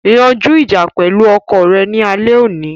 Yanju ija pẹlu ọkọ rẹ ni alẹ oni